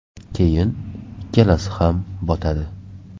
Keyin ikkalasi ham botadi.